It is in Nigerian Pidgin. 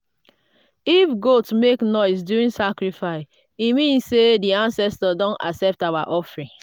if goat make noise during sacrifice e mean say di ancestors don accept our offering.